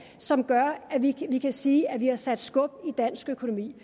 som gør at vi kan sige at vi har sat skub i dansk økonomi